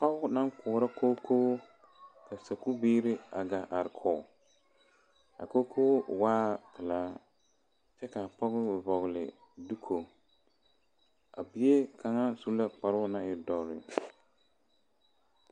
Pɔge naŋ koɔrɔ kookoo ka saku biiri a gaa are kɔge a kookoo waa pelaa kyɛ kaa pɔge vɔgle doko a bie kaŋa su la kparo ne e doɔre.